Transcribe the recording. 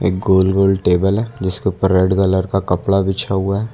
गोल गोल टेबल है जिसके ऊपर रेड कलर का कपड़ा बिछा हुआ है।